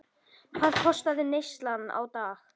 Hvað kostaði neyslan á dag?